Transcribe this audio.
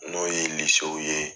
N'o ye ye.